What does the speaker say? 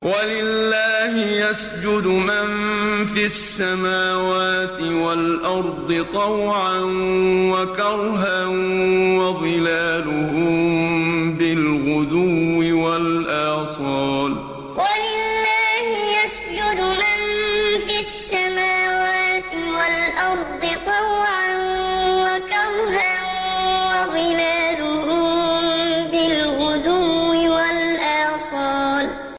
وَلِلَّهِ يَسْجُدُ مَن فِي السَّمَاوَاتِ وَالْأَرْضِ طَوْعًا وَكَرْهًا وَظِلَالُهُم بِالْغُدُوِّ وَالْآصَالِ ۩ وَلِلَّهِ يَسْجُدُ مَن فِي السَّمَاوَاتِ وَالْأَرْضِ طَوْعًا وَكَرْهًا وَظِلَالُهُم بِالْغُدُوِّ وَالْآصَالِ ۩